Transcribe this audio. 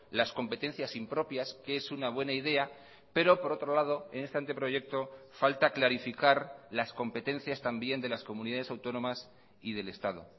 las competencias impropias que es una buena idea pero por otro lado en este anteproyecto falta clarificar las competencias también de las comunidades autónomas y del estado